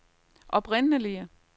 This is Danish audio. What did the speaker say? oprindelige